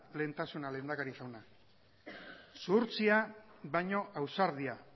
lehentasuna lehendakari jauna zuhurtzia baino ausardia